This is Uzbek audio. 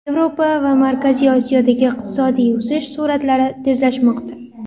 Yevropa va Markaziy Osiyodagi iqtisodiy o‘sish sur’atlari tezlashmoqda.